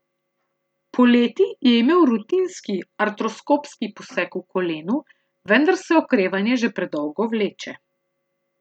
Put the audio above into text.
Poleti je imel rutinski artroskopski poseg v kolenu, vendar se okrevanje že predolgo vleče.